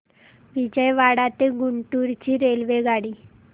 विजयवाडा ते गुंटूर ची रेल्वेगाडी